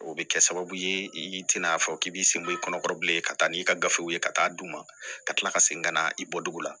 O bɛ kɛ sababu ye i tɛna fɔ k'i b'i senbɔ i kɔnɔ bilen ka taa n'i ka gafew ye ka taa d'u ma ka tila ka segin ka na i bɔ dugu la